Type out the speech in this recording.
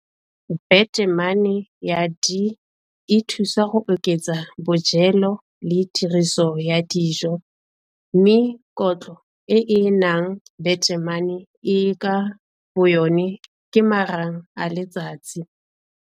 Betamana ya D e thusa go oketsa bojelo le tiriso ya dijo mme kotlo e e nang betamene e ka boyona ke marang a letsatsi.